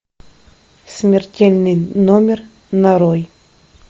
смертельный номер нарой